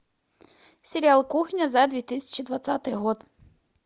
сериал кухня за две тысячи двадцатый год